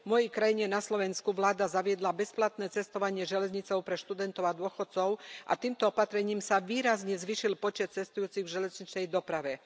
V mojej krajine na Slovensku vláda zaviedla bezplatné cestovanie železnicou pre študentov a dôchodcov a týmto opatrením sa výrazne zvýšil počet cestujúcich v železničnej doprave.